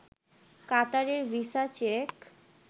কাতারের visa check